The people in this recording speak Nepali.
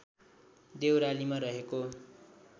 देउरालीमा रहेको